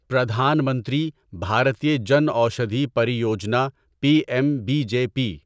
Pradhan Mantri Bharatiya Jan Aushadhi Pariyojana P M B J P